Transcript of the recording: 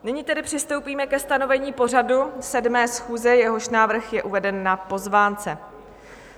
Nyní tedy přistoupíme ke stanovení pořadu 7. schůze, jehož návrh je uveden na pozvánce.